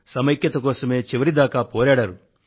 సమైక్యత కోసమే చివరిదాకా పోరాడారు